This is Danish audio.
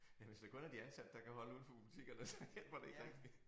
Ja hvis det kun er de ansatte der kan holde udenfor butikkerne så hjælper det ikke rigtig